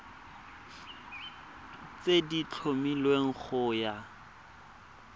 tse di tlhomilweng go ya